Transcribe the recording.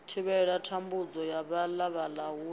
thivhela thambudzo ya vhalala huna